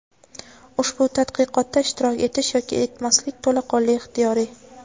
ushbu tadqiqotda ishtirok etish yoki etmaslik to‘laqonli ixtiyoriy.